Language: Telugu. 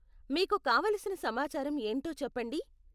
మీకు కావలసిన సమాచారం ఏంటో చెప్పండి.